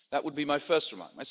That would be my first remark.